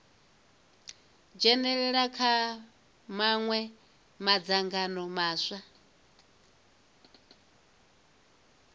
dzhenalela kha mawe madzangano maswa